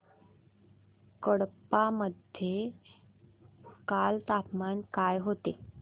कडप्पा मध्ये काल तापमान काय होते